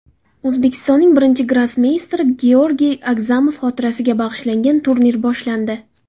O‘zbekistonning birinchi grossmeysteri Georgiy Agzamov xotirasiga bag‘ishlangan turnir boshlandi.